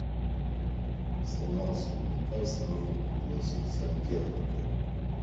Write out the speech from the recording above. сломался унитаз нужно пригласить сантехника